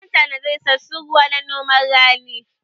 Zan tanada isassun ruwa ma noman rani